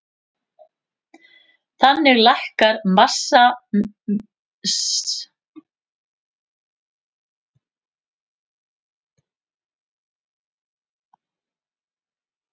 Þannig lækkar massamiðja hjólsins og þar með stöðuorkan.